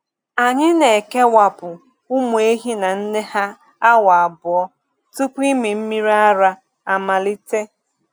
Anyị na-ekewapụ ụmụ ehi na nne ha awa abụọ tupu ịmị mmiri ara amalite.